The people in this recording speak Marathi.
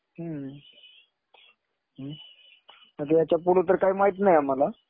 हम्म. आता याच्या पुढं तर काही माहित नाही आम्हाला.